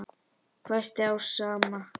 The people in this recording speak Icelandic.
hvæsti Ása amma.